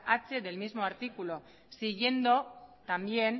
h del mismo artículo siguiendo también